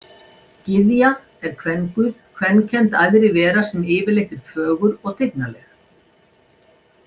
Gyðja er kvenguð, kvenkennd æðri vera sem yfirleitt er fögur og tignaleg.